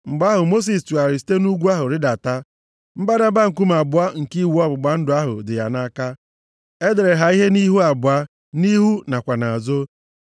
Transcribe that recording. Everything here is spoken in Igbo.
Mgbe ahụ, Mosis tụgharịrị site nʼugwu ahụ rịdata, mbadamba nkume abụọ nke iwu ọgbụgba ndụ ahụ dị ya nʼaka. E dere ha ihe nʼihu abụọ, nʼihu nakwa nʼazụ.